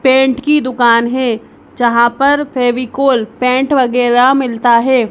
Paint की दुकान है जहां पर फेविकोल पेंट वगैरा मिलता है।